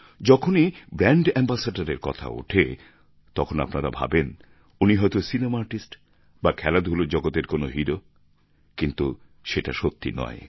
যখনই brand ambassador এর কথা ওঠে তখন আপনারা ভাবেন উনি হয়ত সিনেমা আর্টিস্ট বা খেলাধুলার জগতের কোনও হিরো কিন্তু সেটা সত্যি নয়